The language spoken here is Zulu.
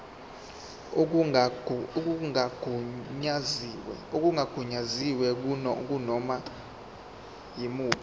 okungagunyaziwe kunoma yimuphi